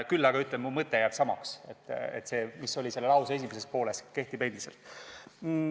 Küll aga ütlen, et mu mõte – see, mis oli tolle lause esimeses pooles – kehtib endiselt.